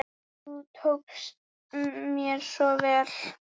Þú tókst mér svo vel.